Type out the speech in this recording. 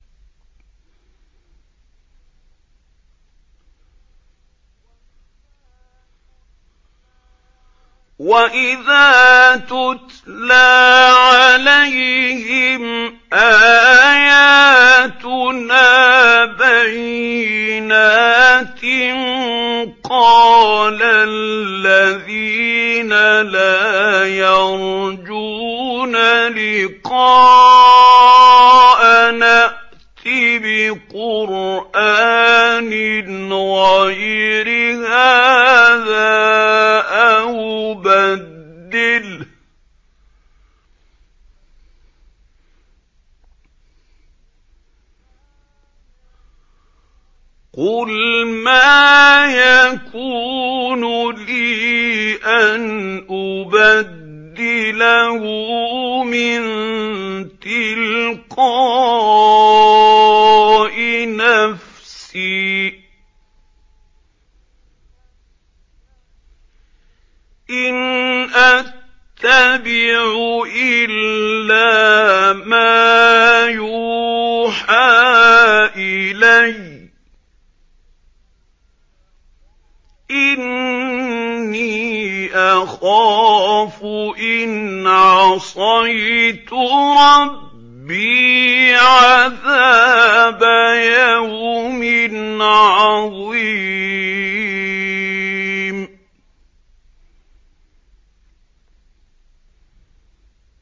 وَإِذَا تُتْلَىٰ عَلَيْهِمْ آيَاتُنَا بَيِّنَاتٍ ۙ قَالَ الَّذِينَ لَا يَرْجُونَ لِقَاءَنَا ائْتِ بِقُرْآنٍ غَيْرِ هَٰذَا أَوْ بَدِّلْهُ ۚ قُلْ مَا يَكُونُ لِي أَنْ أُبَدِّلَهُ مِن تِلْقَاءِ نَفْسِي ۖ إِنْ أَتَّبِعُ إِلَّا مَا يُوحَىٰ إِلَيَّ ۖ إِنِّي أَخَافُ إِنْ عَصَيْتُ رَبِّي عَذَابَ يَوْمٍ عَظِيمٍ